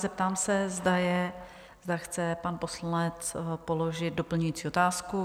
Zeptám se, zda chce pan poslanec položit doplňující otázku?